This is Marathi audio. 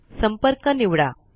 संपर्क निवडा